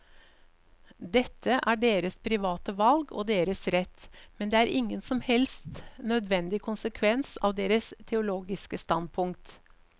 Dette er deres private valg og deres rett, men det er ingen som helst nødvendig konsekvens av deres teologiske standpunkt.